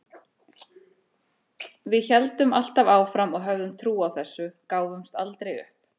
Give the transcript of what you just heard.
Við héldum alltaf áfram og höfðum trú á þessu, gáfumst aldrei upp.